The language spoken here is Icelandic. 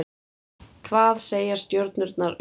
hvað segja stjörnurnar um þig